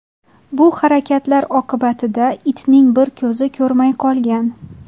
Bu harakatlar oqibatida itning bir ko‘zi ko‘rmay qolgan.